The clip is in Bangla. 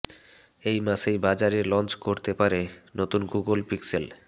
এই মাসেই বাজারে লঞ্চ করতে পারে নতুন গুগল পিক্সেল